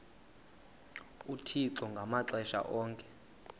uthixo ngamaxesha onke